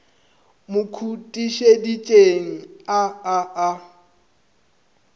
mo khutišeditšeng a a a